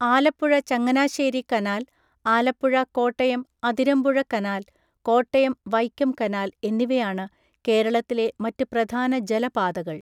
Alappuzha Changanassery canal, Alappuzha Kottayam Athirampuzha canal, Kottayam Vaikom canal എന്നിവയാണ് കേരളത്തിലെ മറ്റ് പ്രധാന ജലപാതകൾ.